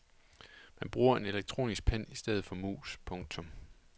Man bruger en elektronisk pen i stedet for mus. punktum